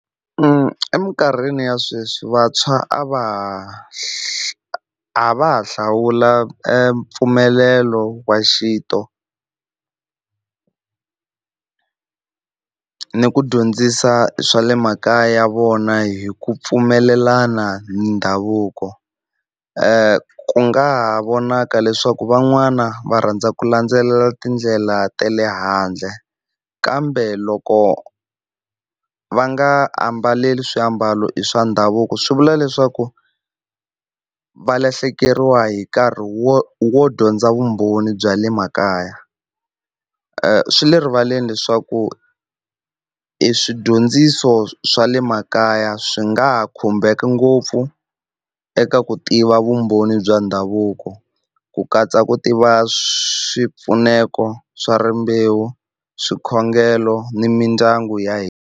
eminkarhini ya sweswi vantshwa a va ha a va ha hlawula mpfumelelo wa xintu ni ku dyondzisa swa le makaya ya vona hi ku pfumelelana ni ndhavuko, ku nga ha vonaka leswaku van'wana va rhandza ku landzelela tindlela ta le handle kambe loko va nga ambaleli swiambalo swa ndhavuko swi vula leswaku va lahlekeriwa hi nkarhi wo wo dyondza vumbhoni bya le makaya. Swi le rivaleni leswaku i swidyondziso swa le makaya swi nga ha khumbeka ngopfu eka ku tiva vumbhoni bya ndhavuko ku katsa ku tiva swipfuneto swa rimbewu, swikhongelo ni mindyangu ya hina.